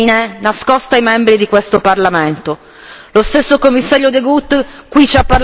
Lo stesso Commissario De Gucht qui ci ha parlato di una stanza riservata e per sola lettura.